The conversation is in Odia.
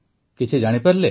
କିଛି ଜାଣିପାରିଲେ